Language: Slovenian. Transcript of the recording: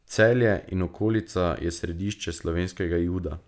Celje in okolica je središče slovenskega juda.